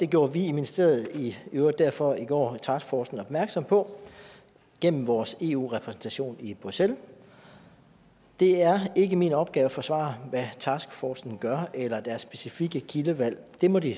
gjorde vi i ministeriet i øvrigt derfor i går taskforcen opmærksom på gennem vores eu repræsentation i bruxelles det er ikke min opgave at forsvare hvad taskforcen gør eller deres specifikke kildevalg det må de